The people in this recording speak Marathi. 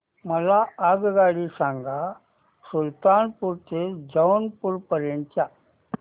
मला आगगाडी सांगा सुलतानपूर ते जौनपुर पर्यंत च्या